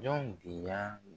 Ɲɔ binya